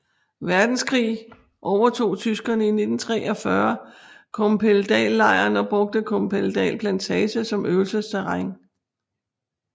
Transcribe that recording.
Verdenskrig overtog tyskerne i 1943 Kompedallejren og brugte Kompedal Plantage som øvelsesterræn